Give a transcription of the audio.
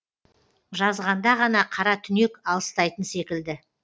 жазғанда ғана қара түнек алыстайтын секілді